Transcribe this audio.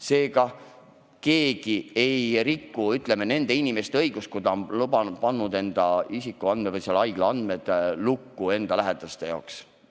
Seega, mitte keegi ei riku teiste inimeste õigusi, kui ta laseb oma isikuandmed või haiglaandmed lähedaste jaoks lukku panna.